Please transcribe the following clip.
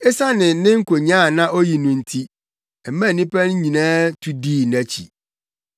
Esiane ne nkonyaa a na oyi no nti, ɛmaa nnipa no nyinaa tu dii nʼakyi.